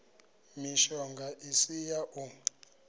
mishonga i si ya u